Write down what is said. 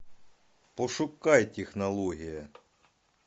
пошукай технология